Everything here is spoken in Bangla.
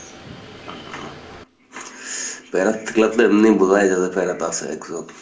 প্যারাত থাকলে আপনে এমনে বুঝাই যায় যে প্যারাতে আছে একজন।